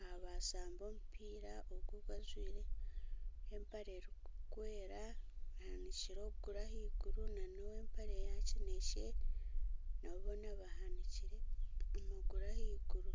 aha bashamba omumpiira ogu ogu ajwaire empare erikwera ahanikire okuguru ahaiguru na n'ow'empare ya kinekye nabo boona bahanikire amaguru ahaiguru.